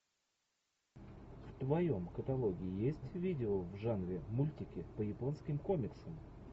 в твоем каталоге есть видео в жанре мультики по японским комиксам